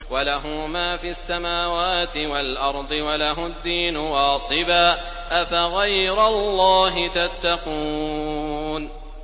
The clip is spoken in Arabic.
وَلَهُ مَا فِي السَّمَاوَاتِ وَالْأَرْضِ وَلَهُ الدِّينُ وَاصِبًا ۚ أَفَغَيْرَ اللَّهِ تَتَّقُونَ